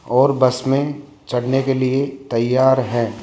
और बस में चढ़ने के लिए तैयार हैं।